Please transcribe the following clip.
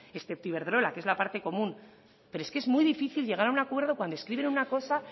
excepto iberdrola que es la parte común pero es que es muy difícil llegar a un acuerdo cuando escriben una cosa